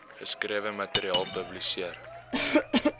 geskrewe materiaal publiseer